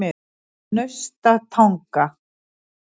Naustatanga